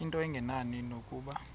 into engenani nokuba